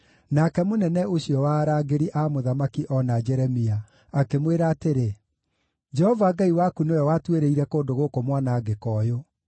Nake mũnene ũcio wa arangĩri a mũthamaki oona Jeremia, akĩmwĩra atĩrĩ, “Jehova Ngai waku nĩwe watuĩrĩire kũndũ gũkũ mwanangĩko ũyũ.